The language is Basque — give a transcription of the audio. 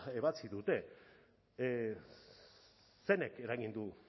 ebatzi dute zeinek eragin du